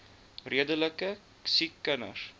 redelike siek kinders